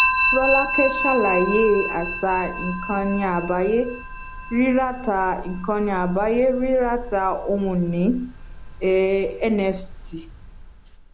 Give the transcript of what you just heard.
rọlákẹ ṣàlàyé àṣà ìkànìàgbáyé ríràtà ìkànìàgbáyé ríràtà ohunìní um nft